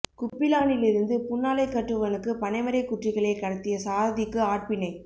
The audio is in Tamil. குப்பிளானிலிருந்து புன்னாலைக்கட்டுவனுக்கு பனைமரக் குற்றிகளை கடத்திய சாரதிக்கு ஆட்பிணை